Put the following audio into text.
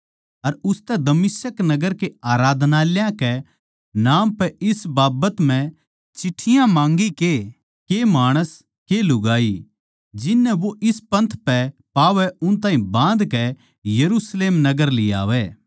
अर उसतै दमिश्क नगर के आराधनालयाँ कै नाम पै इस बाबत म्ह चिट्ठियाँ माँगी के के माणस के लुगाई जिन नै वो इस पंथ पै पावै उन ताहीं बाँधकै यरुशलेम नगर लियावै